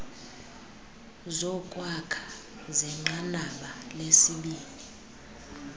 zokwakha zenqanaba lesibini